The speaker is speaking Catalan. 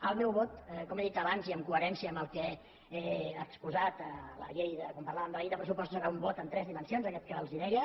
el meu vot com he dit abans i en coherència amb el que he exposat quan parlàvem de la llei de pressupostos serà un vot en tres dimensions aquest que els deia